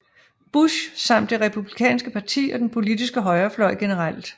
Bush samt det Republikanske parti og den politiske højrefløj generelt